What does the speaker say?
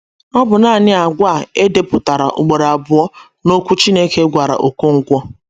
Ọ bụ nanị àgwà e depụtara ugboro abụọ n’okwu Chineke gwara Okonkwo